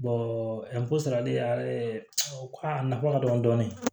sarali aw a nafa ka dɔgɔ dɔɔni